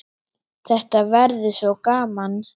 Þetta verður svo gaman.